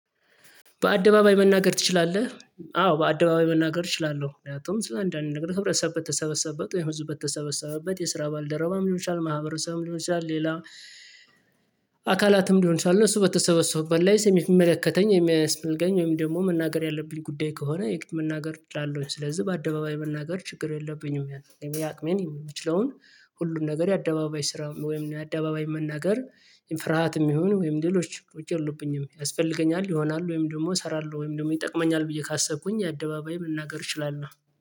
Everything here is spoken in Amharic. በአደባባይ መናገር ትችላለህ? አዎ በአደባባይ መናገር እችላለሁ ምክንያቱም ስለ አንዳንድ ነገር ህብረተሰብ በተሰበሰበ ወይም ህዝብ በተሰበሰበበት የሰራ ባልደረባም ልሆን ይችላል ማህበረሰብም ይሆንሻል። ሌላ አካላትም ይሆን ይችላል እሱ በተሰበሰቡበት ላይ ስለሚመለከተኝ የሚያስፈልገኝ ወይም ደግሞ መናገር ያለብኝ ጉዳይ ከሆነ የቅድም መናገር ጫለውኝ ስለዚህ በአደባባይ መናገር ችግር የለብኝም። ያቅሜ የምችለውን ሁሉን ነገር የአደባባይ ስራ ወይም አደባባይ መናገር ፍርሃትም ይሁን ወይም ድሎች ውጪ የለብኝም። ያስፈልገኛል ይሆናል ወይም ደግሞ እሰራለሁ ወይም ደግሞ ይጠቅመኛል ብዬ ካሰብኩኝ የአደባባይ መናገር እችላለሁ